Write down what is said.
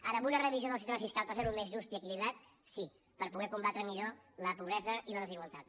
ara en una revisió del sistema fiscal per fer lo més just i equilibrat sí per poder combatre millor la pobresa i la desigualtat